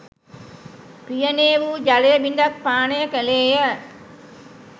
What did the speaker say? පියනේ වූ ජලය බිඳක් පානය කළේය